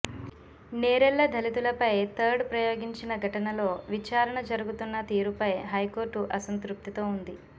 నేరెళ్ల దళితులపై థర్డ్ ప్రయోగించిన ఘటనలో విచారణ జరుగుతున్న తీరుపై హైకోర్టు అసంతృప్తితో ఉంది